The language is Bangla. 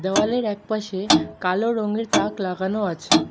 দেওয়ালের একপাশে কালো রঙের তাক লাগানো আছে।